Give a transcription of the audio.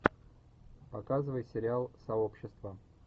показывай сериал сообщество